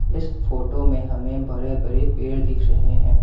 इस फोटो में हमें बड़े बड़े पेड़ दिख रहे हैं।